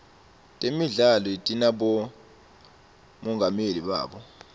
temidlalo tinabomongameli bato